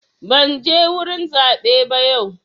Ban je wurin zaɓe ba yau.